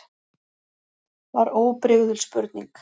var óbrigðul spurning.